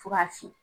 Fo ka fiyɛ